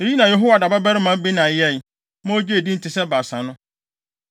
Eyinom na Yehoiada babarima Benaia yɛe, ma ogyee din te sɛ Baasa no.